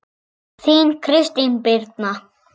Þín, Kristín Birna.